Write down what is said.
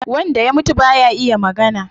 Wanda ya mutum baya iya magana